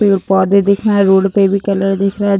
पेड़-पौधे दिख रहे हैं। रोड पे भी कलर दिख रहे --